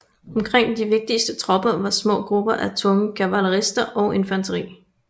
Omkring de vigtigste tropper var små grupper af tunge kavalerister og infanteri